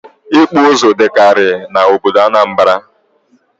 Ịkpụ ụzụ dịkarị n'obodo Anambra